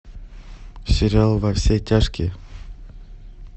сериал во все тяжкие